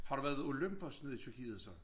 Har du været ved Olympos nede i Tyrkiet så?